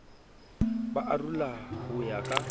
ba arola ho ya ka